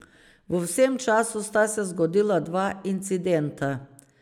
V vsem času sta se zgodila dva incidenta.